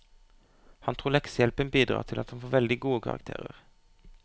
Han tror leksehjelpen bidrar til at han får veldig gode karakterer.